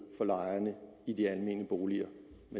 for lejerne i de almene boliger